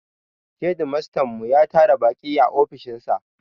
Shedimastan mu ya tara baƙi a ofishin sa